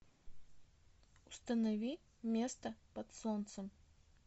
установи место под солнцем